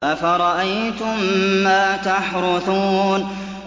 أَفَرَأَيْتُم مَّا تَحْرُثُونَ